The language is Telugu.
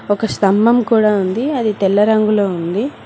ఒక స్తంభం కూడా ఉంది అది తెల్ల రంగులో ఉంది.